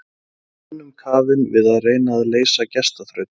Hún var önnum kafin við að reyna að leysa gestaþraut.